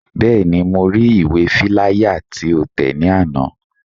Bẹ́ẹ̀ni, mo ri ìwé fíláyà tí o tẹ̀ ní àná